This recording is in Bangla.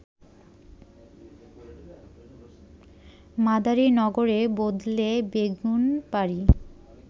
মাদারিনগরের বদলে বেগুনবাড়ি